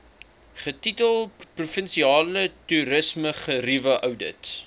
getitel provinsiale toerismegerieweoudit